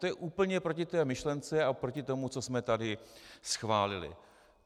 To je úplně proti té myšlence a proti tomu, co jsme tady schválili.